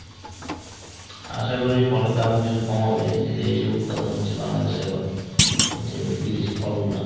আশা করি ফলের দামও কিছু কম হবে যে এই সব উদপাদন হচ্ছে বাংলাদেশে এখন যে বিদেশী ফল গুলা।